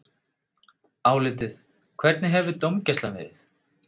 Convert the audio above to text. Álitið: Hvernig hefur dómgæslan verið?